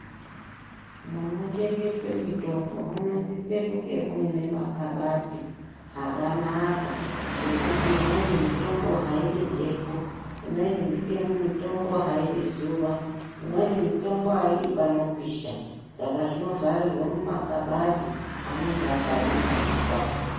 Munochengetwa mitombo munosise kunge muine makabati akanaka ngekuti imweni mitombo haidi mhepo ngekuti imweni mitombo haidi zuwa imweni mitombo aidi panopisha saka zvinovharirwa mumakabati anenge akadumaidzwa.